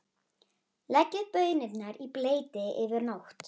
Leggið baunirnar í bleyti yfir nótt.